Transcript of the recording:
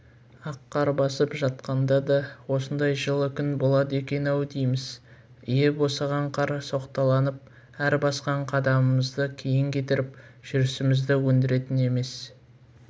ақ қар басып жатқанда да осындай жылы күн болады екен-ау дейміз иі босаған қар соқталанып әр басқан қадамымызды кейін кетіріп жүрісімізді өндіретін емес